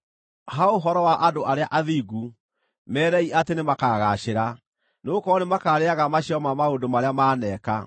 Ha ũhoro wa andũ arĩa athingu, meerei atĩ nĩmakagaacĩra; nĩgũkorwo nĩmakaarĩĩaga maciaro ma maũndũ marĩa maaneka.